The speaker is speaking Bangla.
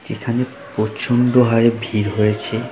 যেখানে প্র-ওচন্ড হারে ভিড় হয়েছে।